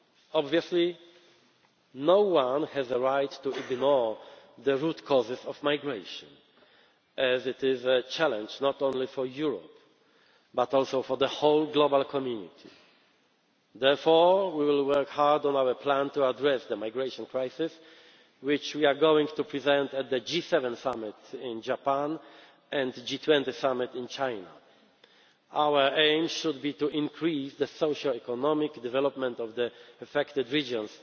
perspective. Obviously, no one has the right to ignore the root causes of migration, as it is a challenge not only for Europe but also for the whole global community. Therefore we will work hard on our plan to address the migration crisis, which we are going to present at the G7 Summit in Japan and the G20 Summit in China. Our aim should be to increase the socioeconomic development of the affected